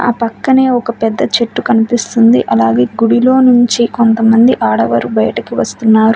ఆ పక్కనే ఒక పెద్ద చెట్టు కనిపిస్తుంది అలాగే గుడిలో నుంచి కొంతమంది ఆడవారు బయటకి వస్తున్నారు.